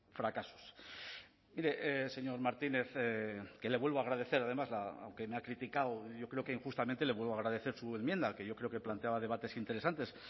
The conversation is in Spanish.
fracasos mire señor martínez que le vuelvo a agradecer además aunque me ha criticado yo creo que injustamente le vuelvo a agradecer su enmienda que yo creo que planteaba debates interesantes